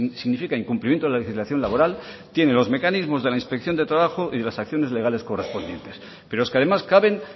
significa incumplimiento de la legislación laboral tiene los mecanismos de la inspección de trabajo y de las acciones legales correspondientes pero es que además caben